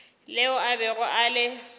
leo a bego a le